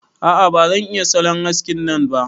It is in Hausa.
A'a ba zan iya salon haskin nan ba.